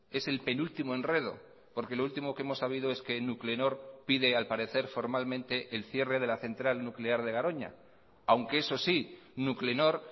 es el penúltimo enredo porque lo último que hemos sabido es que nuclenor pide al parecer formalmente el cierre de la central nuclear de garoña aunque eso sí nuclenor